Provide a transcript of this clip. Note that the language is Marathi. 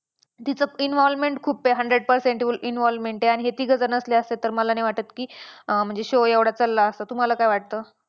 तिचं involvement खूप आहे hundred percent involvement आहे आणि हे तिघेजणं नसले असते तर मला नाही वाटत की अं म्हणजे show एवढा चालला असता तुम्हाला काय वाटतं?